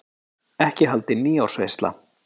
Ekki haldin nýársveisla.